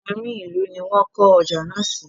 Àárín ìlú ní wón kọ́ ọjà náà sí.